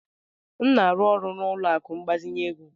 M na-arụ ọrụ na ụlọ akụ ịgbazinye ego.